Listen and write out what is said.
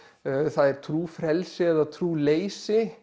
það er trúfrelsi eða trúleysi